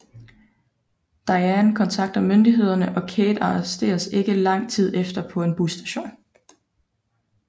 Diane kontakter myndighederne og Kate arresteres ikke lang tid efter på en busstation